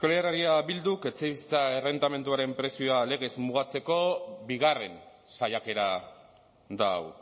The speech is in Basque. euskal herria bilduk etxebizitza errentamenduaren prezioa legez mugatzeko bigarren saiakera da hau